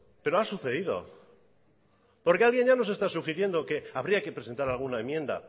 pero ha sucedido porque alguien ya nos está sugiriendo que habría que presentar alguna enmienda